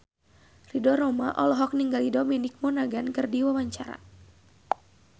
Ridho Roma olohok ningali Dominic Monaghan keur diwawancara